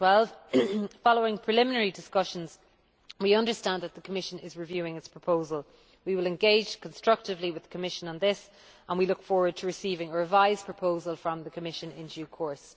2012 following preliminary discussions, we understand that the Commission is reviewing its proposal. We will engage constructively with the Commission on this and we look forward to receiving a revised proposal from the Commission in due course.